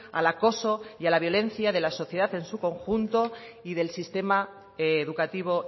al acoso y a la violencia de la sociedad en su conjunto y del sistema educativo